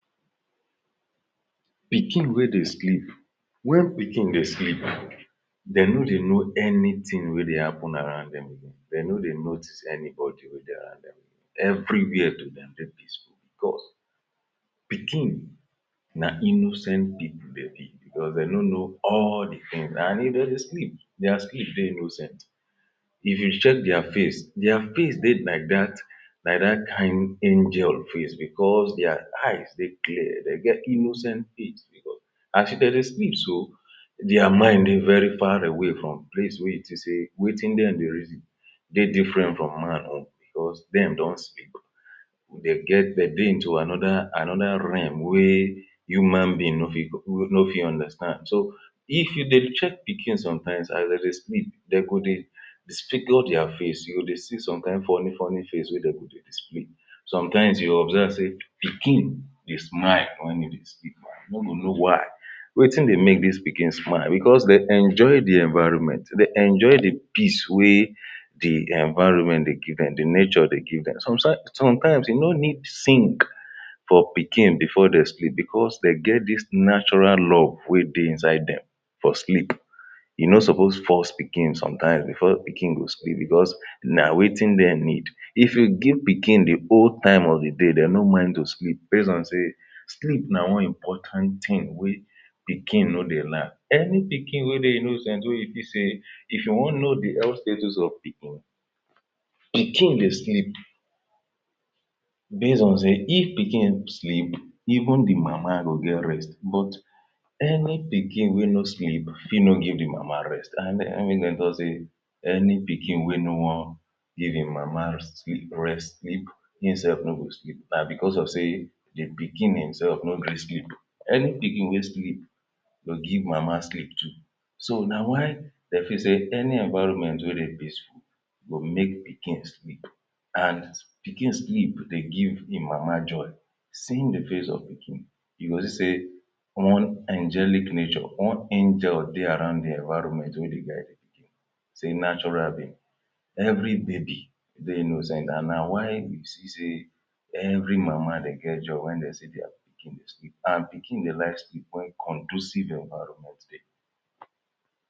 Pikin wey dey sleep, when pikin dey sleep dey no dey know anything wey dey happen around dem again, dem no dey notice anybody wey dey around dem everywhere to dem dey peaceful because pikin na innocent people dem be because dey no know all dey things and if de dey sleep dia sleep dey innocent if you check dia face, dia face dey like dat like dat kain angel face because dia eyes dey clear, dey get innocent face, because as de dey sleep so dia mind dey very far away from place wey you think sey wetin dem dey reason dey different from man own because dem don sleep. De get de dey into another another realm wey human being no fit no fit understand, so if you dey check pikin sometimes as de dey sleep, dey go dey spikolo dia face, you go dey see some kain funny funny face wey dey go dey display.. Sometimes you go observe sey pikin dey smile when e dey sleep, you no go know why wetin dey make dis pikin smile because dey enjoy dey environment, dey enjoy dey peace wey dey environment dey give dem, dey nature dey give them. Sometime Sometimes e no need sing for pikin before dey sleep because dey get dis natural love wey dey inside dem for sleep E no suppose force pikin sometimes before pikin go sleep because na wetin dem need. If you give pikin dey whole time of dey day, dem no mind to sleep base on sey sleep na one important thing wey pikin no dey lack. Any pikin wey dey innocent wey you feel sey if you wan know dey health status of pikin, pikin dey sleep base on sey if pikin sleep even dey mama go get rest but any pikin wey no sleep fit no go give the mama rest and na im make dem talk say any pikin no wan give im mama sleep, rest sleep im self no go sleep na because of sey im pikin imself no gree sleep. Any pikin wey sleep go give mama sleep too, so na why de feel sey any environment wey dey peaceful go make pikin sleep and pikin sleep dey give im mama joy, seeing dey face of pikin e go see sey one angelic nature, one angel dey around dey environment wey dey guide dey pikin. say natural being. Every baby dey innocent and na why you see sey every mama dey get joy when dey see dia pikin dey sleep and pikin dey like sleep when conducive environment dey.